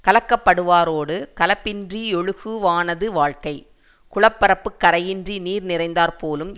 கலக்கப் படுவாரோடு கலப்பின்றி யொழுகுவானது வாழ்க்கை குளப்பரப்பு கரையின்றி நீர் நிறைந்தாற் போலும்